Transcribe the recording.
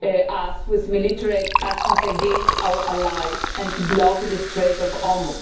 to take military action against our allies and to block the Strait of Hormuz.